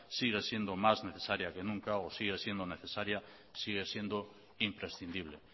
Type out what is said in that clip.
sigue siendo más necesaria que nunca o sigue siendo necesaria sigue siendo imprescindible